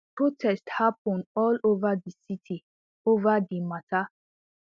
protests happun all ova di city ova di mata